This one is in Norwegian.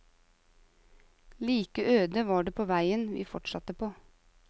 Like øde var det på veien vi fortsatte på.